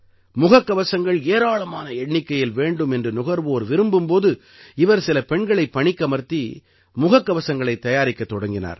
முகக்கவசங்கள் ஏராளமான எண்ணிக்கையில் வேண்டும் என்று நுகர்வோர் விரும்பும் போது இவர் சில பெண்களைப் பணிக்கமர்த்தி முகக்கவசங்களைத் தயாரிக்கத் தொடங்கினார்